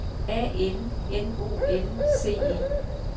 A N N O N C E